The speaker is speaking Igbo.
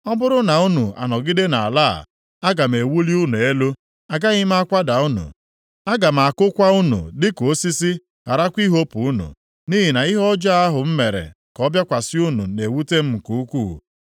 ‘Ọ bụrụ na unu anọgide nʼala a, aga m ewuli unu elu; agaghị m akwada unu. Aga m akụkwa unu dịka osisi, gharakwa ihopu unu. Nʼihi na ihe ọjọọ ahụ m mere ka ọ bịakwasị unu na-ewute m nke ukwuu.